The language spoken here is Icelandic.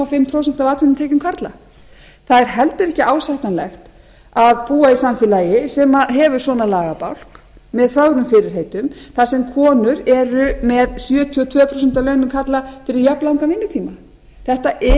hálft prósent af atvinnutekjum karla það er heldur ekki ásættanlegt á búa í samfélagi sem hefur svona lagabálk með fögrum fyrirheitum þar sem konur eru með sjötíu og tvö prósent af launum karla fyrir jafnlangan vinnutíma þetta er